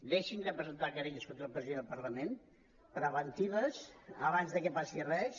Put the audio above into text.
deixin de presentar querelles contra el president del parlament preventives abans que passi res